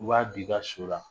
U b'a don i ka so la